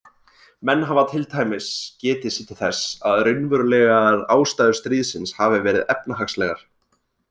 Menn hafa til dæmis getið sér þess til að raunverulegar ástæður stríðsins hafi verið efnahagslegar.